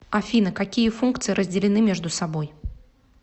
афина какие функции разделены между собой